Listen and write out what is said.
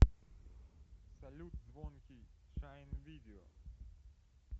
салют звонкий шайн видео